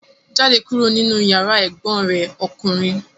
Jáde kúrò nínú yàrá ẹ̀gbọ́n rẹ̀ ọkùnrin!